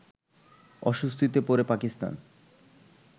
অস্বস্তিতে পড়ে পাকিস্তান